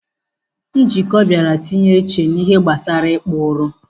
Njoku biara tinye uchu n'ihe gbasara ikpa uri.